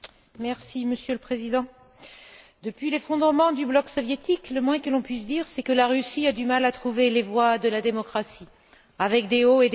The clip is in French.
Monsieur le Président, depuis l'effondrement du bloc soviétique, le moins que l'on puisse dire c'est que la Russie a du mal à trouver les voies de la démocratie, avec des hauts et des bas.